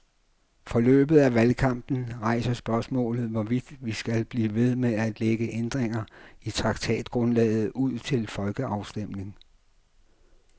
Forløbet af valgkampen rejser spørgsmålet, hvorvidt vi skal blive ved med at lægge ændringer i traktatgrundlaget ud til folkeafstemning.